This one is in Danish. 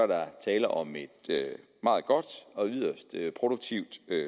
der tale om et meget godt og yderst produktivt